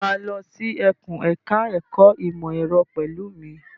Ṣé o máa lọ sí ẹkùn ẹ̀ka ẹ̀kó ìmọ̀ ẹ̀rọ pẹ̀lú mi?